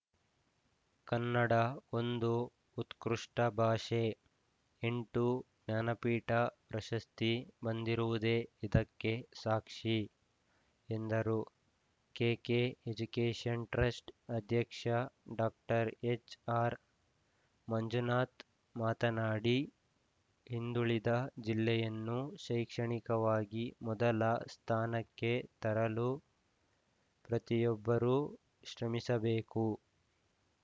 ಕನ್ನಡ ಒಂದು ಉತ್ಕೃಷ್ಟಭಾಷೆ ಎಂಟು ಜ್ಞಾನಪೀಠ ಪ್ರಶಸ್ತಿ ಬಂದಿರುವುದೇ ಇದಕ್ಕೆ ಸಾಕ್ಷಿ ಎಂದರು ಕೆಕೆಎಜುಕೇಷನ್‌ಟ್ರಸ್ಟ್‌ ಅಧ್ಯಕ್ಷ ಡಾಕ್ಟರ್ ಎಚ್‌ಆರ್‌ಮಂಜುನಾಥ್‌ ಮಾತನಾಡಿ ಹಿಂದುಳಿದ ಜಿಲ್ಲೆಯನ್ನು ಶೈಕ್ಷಣಿಕವಾಗಿ ಮೊದಲ ಸ್ಥಾನಕ್ಕೆ ತರಲು ಪ್ರತಿಯೊಬ್ಬರೂ ಶ್ರಮಿಸಬೇಕು